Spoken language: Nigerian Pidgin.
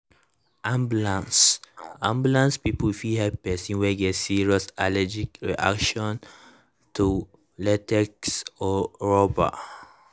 ambulance ambulance people fit help person wey get serious allergic reaction to latex or rubber.